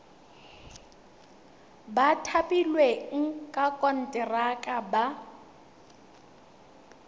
ba thapilweng ka konteraka ba